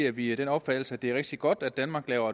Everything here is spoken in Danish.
er vi af den opfattelse at det er rigtig godt at danmark laver